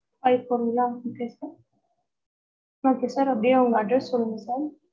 five four ங்களா okay okay sir அப்படியே உங்க address சொல்லுங்க sir